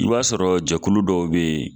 I b'a sɔrɔ jɛkulu dɔ bɛ yen